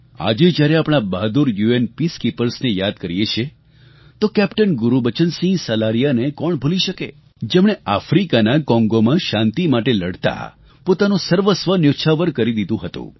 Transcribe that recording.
આજે જ્યારે આપણા બહાદુર યુએન પીસકીપર્સ ને યાદ કરીએ છીએ તો કેપ્ટન ગુરૂબચન સિંહ સલારિયાને કોણ ભૂલી શકે જેમણે આફ્રિકાના કોંગોમાં શાંતિ માટે લડતા પોતાનું સર્વસ્વ ન્યોછાવર કરી દીધું હતું